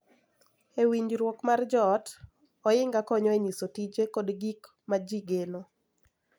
E winjruok mar joot, ohinga konyo e nyiso tije kod gik ma ji geno.